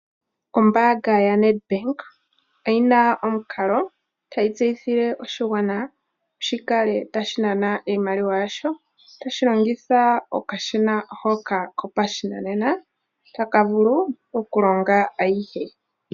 Ombaanga yaNet bank oyina omukalo tayi tseyithile oshigwana shika Le tashi anan iimaliwa yasho, tashi longitha okashina hoka kopashinanena, taka vulu oku longa ayihe.